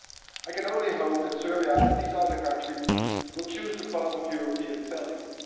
I can only hope that Serbia and these other countries will choose the path of European values.